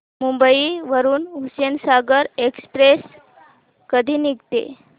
मुंबई वरून हुसेनसागर एक्सप्रेस कधी निघते